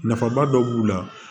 Nafaba dɔ b'u la